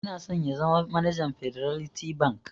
Yana so ya zama manajan Fiderlity Bank.